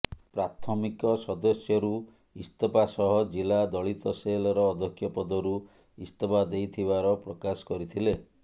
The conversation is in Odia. ପ୍ରାଥମିକ ସଦସ୍ୟରୁ ଇସ୍ତଫା ସହ ଜିଲ୍ଲା ଦଳିତ ସେଲର ଅଧ୍ୟକ୍ଷ ପଦରୁ ଇସ୍ତଫା ଦେଇଥିବାର ପ୍ରକାଶ କରିଥିଲେ